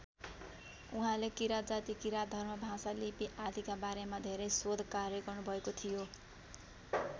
उहाँले किराँत जाति किराँत धर्म भाषा लिपि आदिका बारेमा धेरै शोधकार्य गर्नुभएको थियो।